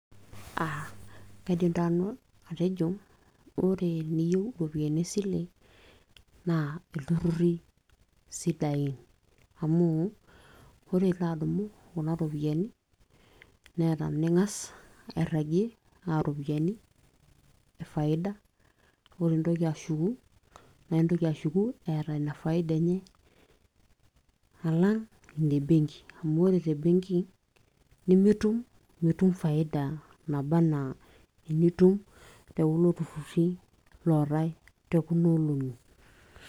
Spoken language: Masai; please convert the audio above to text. kaidim taa nanu atejo ore teniyieu iropiyiani esile naa ilturruri isidain amu ore ilo adumu kuna ropiyiani neeta ning'as airragie aa iropiyiani e faida ore intoki ashuku naa intoki ashuku eeta ina faida enye alang ine benki amu ore te benki nimitum mitum faida naba enaa enitum te kulo turrur ootay te kuna olong'i